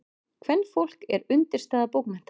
Kvenfólk er undirstaða bókmennta.